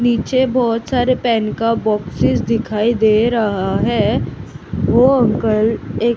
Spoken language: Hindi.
नीचे बहोत सारे पेन का बॉक्सेस दिखाई दे रहा है वो अंकल एक--